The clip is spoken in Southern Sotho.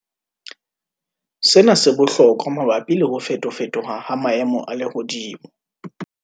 Sena se bohlokwa mabapi le ho fetofetoha ha maemo a lehodimo.